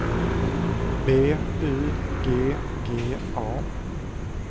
B Y G G A